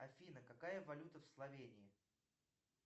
афина какая валюта в словении